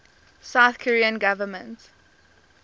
south korean government